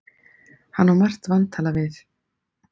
Hann á margt vantalað við